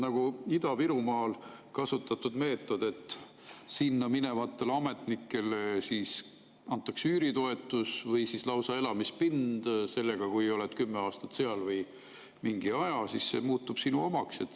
Aga Ida-Virumaal on kasutatud meetodit, et sinna minevatele ametnikele antakse üüritoetust või lausa elamispind ning kui oled 10 aastat või mingi aja seal, siis see muutub sinu omaks.